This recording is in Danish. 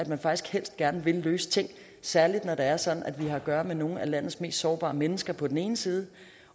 man faktisk helst gerne vil løse ting særlig når det er sådan at vi har at gøre med nogle af landets mest sårbare mennesker på den ene side